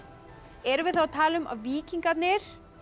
erum við þá að tala um að víkingarnir og